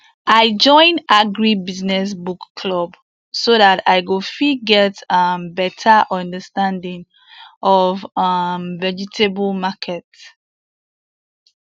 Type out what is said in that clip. i join agri business book club so that i go fit get um better understanding of um vegetable market